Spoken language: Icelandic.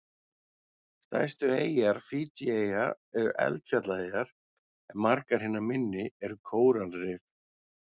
Stærstu eyjar Fídjieyja eru eldfjallaeyjar en margar hinna minni eru kóralrif.